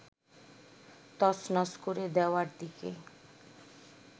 তছনছ করে দেওয়ার দিকে